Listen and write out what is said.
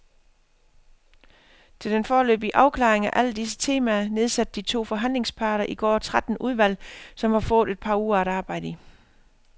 Til den foreløbige afklaring af alle disse temaer nedsatte de to forhandlingsparter i går tretten udvalg, som har fået et par uger at arbejde i.